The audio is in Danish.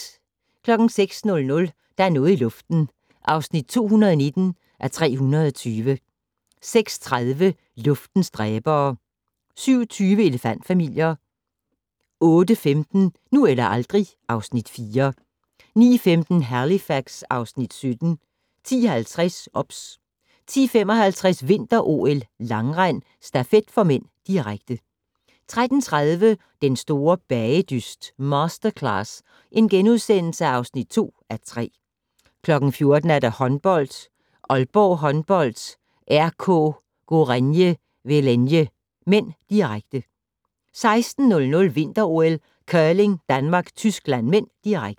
06:00: Der er noget i luften (219:320) 06:30: Luftens dræbere 07:20: Elefant-familier 08:15: Nu eller aldrig (Afs. 4) 09:15: Halifax (Afs. 17) 10:50: OBS 10:55: Vinter-OL: Langrend - stafet (m), direkte 13:30: Den store bagedyst - Masterclass (2:3)* 14:00: Håndbold: Aalborg Håndbold-RK Gorenje Velenje (m), direkte 16:00: Vinter-OL: Curling - Danmark-Tyskland (m), direkte